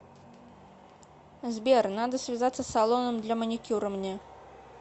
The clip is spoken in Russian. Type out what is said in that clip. сбер надо связаться с салоном для маникюра мне